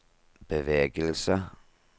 bevegelse